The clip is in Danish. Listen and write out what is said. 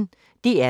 DR P1